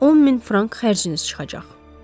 Amma 10 min frank xərciniz çıxacaq.